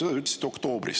" Seda te ütlesite oktoobris.